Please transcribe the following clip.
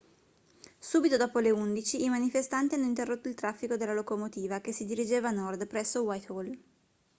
subito dopo le 11:00 i manifestanti hanno interrotto il traffico della locomotiva che si dirigeva a nord presso whitehall